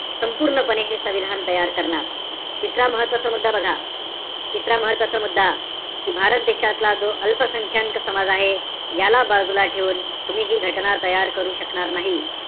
संपूर्णपणे हे संविधान तयार करणार. तिसरा महत्वाचा मुद्दा बघा. तिसरा महत्वाचा मुद्दा, कि भारत देशातला जो अल्प संख्यांक समाज आहे. याला बाजूला ठेवून मी हि घटना तयार करू शकणार नाही.